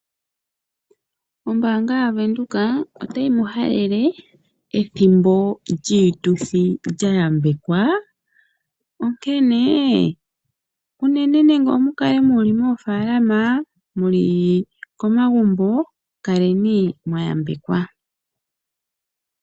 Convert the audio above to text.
Ombaanga yavenduka, otayi mu halale ethimbo lyiituthi lya yambekwa. Onkene nande omukale muli moofaalama, nenge komagumbo, kaleni mwayambekwa.